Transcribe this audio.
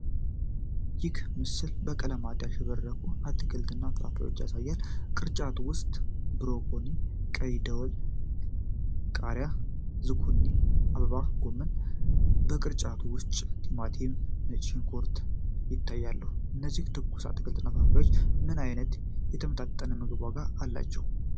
ይህ ምስል በቀለማት ያሸበረቁ አትክልቶችንና ፍራፍሬዎችን ያሳያል፤ ቅርጫት ውስጥ ብሮኮሊ፣ ቀይ ደወል ቃሪያ፣ ዛኩኪኒ እና አበባ ጎመን ይታያሉ። ከቅርጫቱ ውጪ ቲማቲም፣ ነጭ ሽንኩርት፣ ይታያሉ። እነዚህ ትኩስ አትክልቶችና ፍራፍሬዎች ምን ዓይነት የተመጣጠነ ምግብ ዋጋ አላቸው?